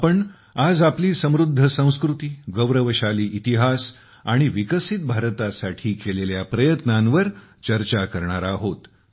आपण आज आपली समृद्ध संस्कृती गौरवशाली इतिहास आणि विकसित भारतासाठी केलेल्या प्रयत्नांवर चर्चा करणार आहोत